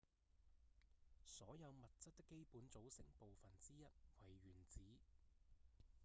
所有物質的基本組成部分之一為原子